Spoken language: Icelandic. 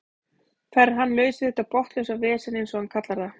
Þar er hann laus við þetta botnlausa vesen eins og hann kallar það.